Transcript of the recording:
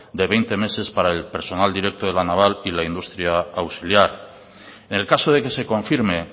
de veinte meses para el personal directo de la naval y la industria auxiliar en el caso de que se confirme